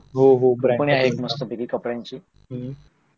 हो हो तो हि आहे एक मस्त कपड्यांची